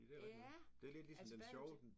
Ja altså bade